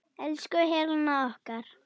Elsku Helena okkar.